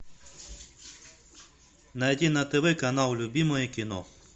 найди на тв канал любимое кино